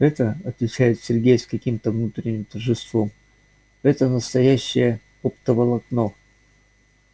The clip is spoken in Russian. это отвечает сергей с каким-то внутренним торжеством это настоящее оптоволокно